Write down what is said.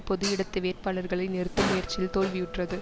பொது இடது வேட்பாளர்களை நிறுத்தும் முயற்சியில் தோல்வியுற்றது